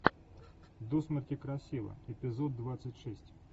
до смерти красива эпизод двадцать шесть